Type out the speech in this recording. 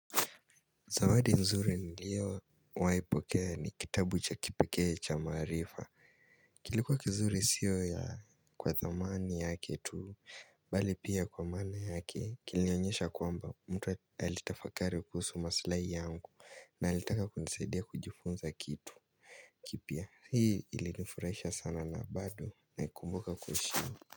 Zawadi nzuri niliowai pokea ni kitabu cha kipekee cha maarifa kilikuwa kizuri siyo ya kwa zamani yake tu Bali pia kwa maana yake Kilionyesha kwamba mtu alitafakari kuhusu maslahi yangu na alitaka kunisaidia kujifunza kitu kipya hii ilinifurahisha sana na bado na ikumbuka kuishio.